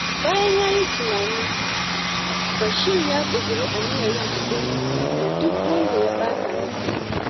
Bayan ya yi tunani, Bashir ya ƙudiri aniyar yin haƙuri da duk wanda ya ɓata masa rai.